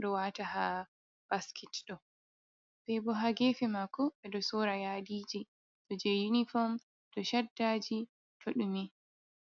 ɗo waata haa basket ɗo, nden bo haa geefe maako ɗe ɗo sorra yaadiiji, ɗo jey yunifom, ɗo caddaaji to ɗume.